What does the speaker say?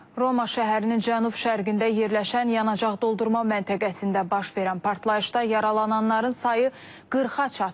Roma şəhərinin cənub-şərqində yerləşən yanacaq doldurma məntəqəsində baş verən partlayışda yaralananların sayı 40-a çatıb.